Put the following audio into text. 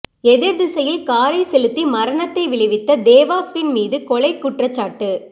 எதிர் திசையில் காரை செலுத்தி மரணத்தை விளைவித்த தேவாஸ்வின் மீது கொலை குற்றச்சாட்டு